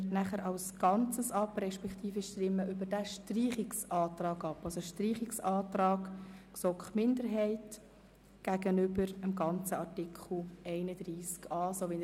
Das heisst, wir stimmen über den Antrag der GSoK-Minderheit ab, den ganzen Artikel 31a zu streichen.